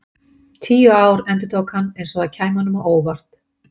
Tíu ár, endurtók hann eins og það kæmi honum á óvart.